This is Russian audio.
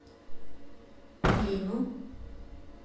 клину